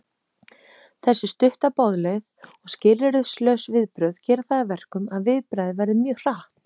Þessi stutta boðleið og skilyrðislaus viðbrögð gera það að verkum að viðbragðið verður mjög hratt.